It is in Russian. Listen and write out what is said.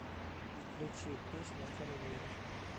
включи песню конвейер